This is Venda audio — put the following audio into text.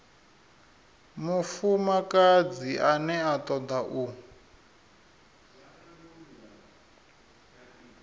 mufumakadzi ane a toda u